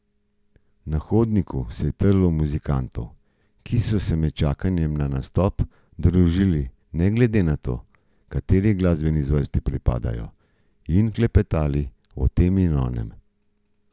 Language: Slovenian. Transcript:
Na hodniku se je trlo muzikantov, ki so se med čakanjem na nastop družili ne glede na to, kateri glasbeni zvrsti pripadajo, in klepetali o tem in onem.